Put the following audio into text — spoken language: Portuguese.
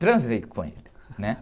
Transei com ele, né?